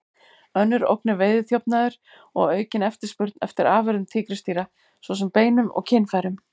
Önnur ógn er veiðiþjófnaður og aukin eftirspurn eftir afurðum tígrisdýra, svo sem beinum og kynfærum.